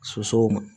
Sosow